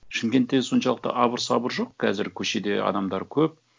шымкентте соншалықты абыр сабыр жоқ қазір көшеде адамдар көп